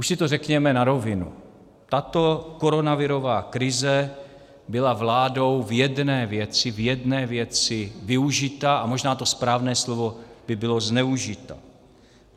Už si to řekneme na rovinu, tato koronavirová krize byla vládou v jedné věci využita, a možná to správné slovo by bylo zneužita.